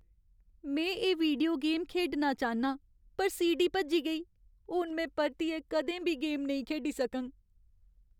में एह् video game खेढना चाह्न्नां पर सीडी भज्जी गेई। हून में परतियै कदें बी गेम नेईं खेढी सकङ।